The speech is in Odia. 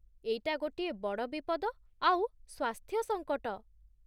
ଏଇଟା ଗୋଟିଏ ବଡ଼ ବିପଦ ଆଉ ସ୍ଵାସ୍ଥ୍ୟ ସଙ୍କଟ ।